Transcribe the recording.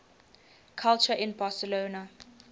culture in barcelona